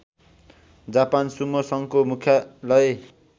Japan sumo सङ्घको मुख्यालय